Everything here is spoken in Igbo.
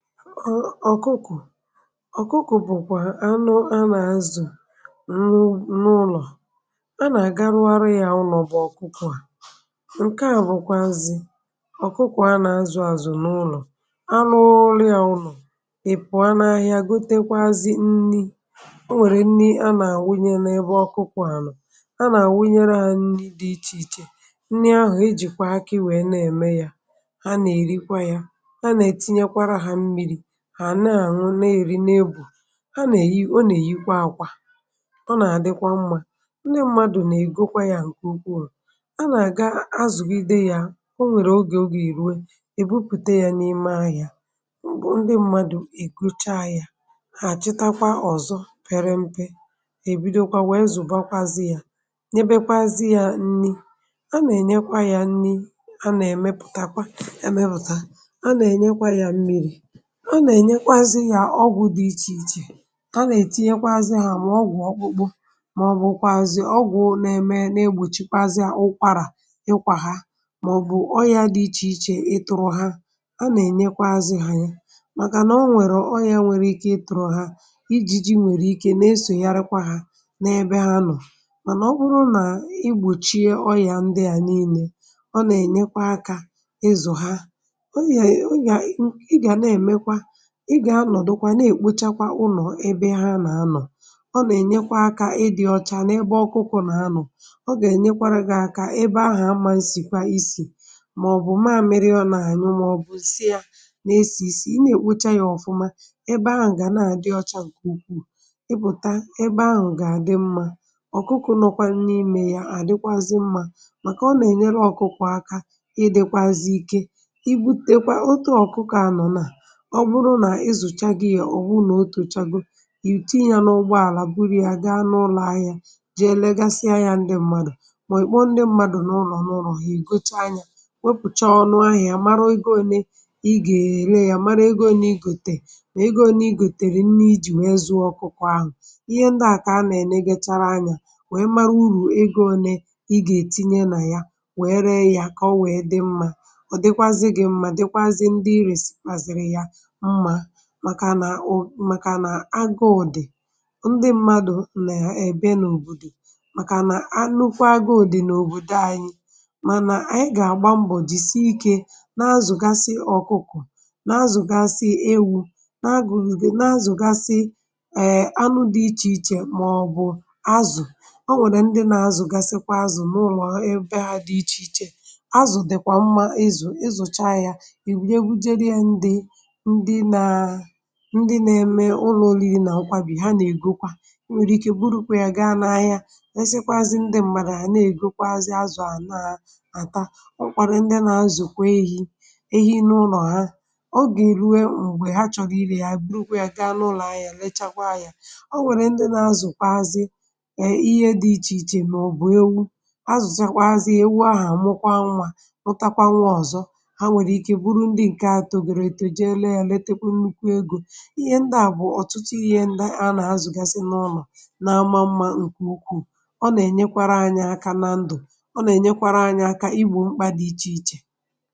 ọ̀kụkụ̀ ọ̀kụkụ̀ bụ̀kwà anụ anà azụ̀ nwụ n’ụlọ̀ anà garuo ya um ụlọ̀ bụ̀ ọ̀kụkụ̀ à ǹke à bụ̀kwà nzị̀ ọ̀kụkụ̀ anà azụ̀ àzụ̀ n’ụlọ̀ anụrụ ya um ụlọ̀ ị̀pụ̀ anà ahị̇ȧ gotekwazị nri o nwèrè nri anà àwụnyere n’ebe ọ̀kụkụ̀ ànọ̀ anà àwụnyere à nri dị ichè ichè nri ahụ̀ ijìkwà akị wèe na-ème yȧ ha na-àṅụ na-èri n’ebù ha nà-èyi, ọ nà-èyikwa akwà ọ nà-àdịkwa mmȧ um ndị mmadụ̀ nà-ègokwa ya ǹkè ukwu wụ̇ a nà-àga azụ̀gide ya o nwèrè ogè o gà-èruwe èbupụ̀te ya n’ime ahụ̀ ya ndị mmadụ̀ èkocha ya hà chịtakwa ọ̀zọ pere mpė èbido kwa wèe zụ̀bàkwazị ya ebekwazị ya nni a nà-ènyekwa ya nni a nà-èmepụ̀takwa emepùta a nà-ènyekwa ya mmiri a nà ènyekwa azị yà um ọgwụ̇ dị ichè ichè a nà ètinyekwa azị hà mà ọ gwụ̀ ọkpụkpụ mà ọ bụ̀kwàzị̀ ọgwụ̀ nẹmẹ nà egbòchikwaazịà ụkwarà ịkwà ha mà ọ̀bụ̀ ọrịa dị ichè ichè ịtụrụ ha a nà ènyekwa azị hà ya màkà nà ọ nwẹ̀rẹ̀ ọọ ya nwẹ̀rẹ̀ ike ịtụ̇rụ̇ ha ijiji nwèrè ike na esònyerekwa ha n’ebe ha nọ̀ mànà ọ kpụrụ nà igbòchie ọrịà ndị à niilė ọ nà ẹnyẹkwa akȧ ị zụ̀ ha ị gà-anọ̀dụ kwa nà-èkpochakwa ụnọ̀ ebe ha nà-anọ̀ ọ nà-ènyekwa akȧ ịdị̇ ọcha n’ebe ọkụkụ nà-anọ̀ ọ gà-ènyekwara gị̇ aka ebe ahụ̀ mmȧ nsìkwa isì màọ̀bụ̀ maȧmịrị ọ nà-ànyị maọ̀bụ̀ isi yȧ nà-esì isi ị nà-èkpocha yȧ ọ̀fụma ebe ahụ̀ gà na-àdị ọcha ǹkè ukwuù ị bụ̀ta ebe ahụ̀ gà-àdị mmȧ ọ̀kụkụ nọkwa nni imè yà àdịkwazị mmȧ màkà ọ nà-ènyere ọkụkụ̀ aka ịdị̇kwazị ike um i butekwa otu ọ̀kụkụ̀ ànọ nà ǹke à bụ̀ ọrụ nà ịzụ̀cha gị yȧ ọ̀ bụ nà otu echago è itinyė nà ụgbọ àlà buru yȧ gị anụ ụlọ̇ ahịa jee legasịa yȧ ndị m̀madụ̀ um mà ị̀kpọ ndị mmadụ̀ nà ụlọ̀ nà ụlọ̀ è gocha yȧ wepùcha ọnụ ahịȧ mara ego ole ị gà-èle yȧ mara ego onye ị gòtè wèe ego onye ị gòtèrè nne ijì wee zụ̇ ọkụkọ ahụ̀ ihe ndị à kà a nà-ène gịchara anya wèe mara urù ego one ị gà-ètinye nà ya wee ree yȧ kà o wee dị mma ọ dịkwazị gị mma dịkwazị ndị irè sikwazịrị yȧ màkà nà agụụ̀dị̀ ndị mmadụ̀ nà èbe n’òbòdò màkà nà nukwu agụụ̀dị̀ n’òbòdò anyị mànà ànyị gà-àgba mbọ̀ jìse ike na-azụ̀gasị ọ̀kụkọ̀ um na-azụ̀gasị ewu̇ na-agụ̀ghìghì na-azụ̀gasị ee, anụ̇ dị ichè ichè màọbụ̀ azụ̀ o nwèrè ndị na-azụ̀gasịkwa azụ̀ n’ụlọ̀ ebe ha dị̇ ichè ichè azụ̀ dị̀kwà mma izù ịzụ̀cha yȧ ndị nȧ-eme ụlọ̀ olili nà akwụkwà bì ha nà-ègokwa ọ nwèrè ike bụrụkwà yà gaa n’ahịa nazịkwazị ndị m̀madụ̇ à nà-ègokwa azị azụ̀ ànaà àta ọ kwȧrȧ ndị nà-azụ̀kwa ehi ehi nà ụlọ̀ ha ogè rùwe m̀gbè ha chọ̀rọ̀ irė ya buru kwà yà gaa n’ụlọ̀ ahịa lechakwa yȧ ọ nwèrè ndị nȧ-azụ̀kwazị e ihe dị ichè ichè um màọbụ̀ ewu azụ̀ zakwa azị ewu ahà àmụkwa nwȧ rụtakwa nwa ọ̀zọ ha nwèrè ike bụrụ ndị ǹkè atọ̀ gèrè etè jeela ihe ndị à bụ̀ ọ̀tụtụ ihe ndị anà azụ̀gasi n’ụlọ̀ na-ama mma ǹkù ukwuù ọ nà-ènyekwara anyị aka nà ndụ̀ ọ nà-ènyekwara anyị aka ịgbụ̇ mkpà dị ichè ichè.